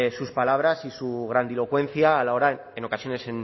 sus palabras y su grandilocuencia a la hora en ocasiones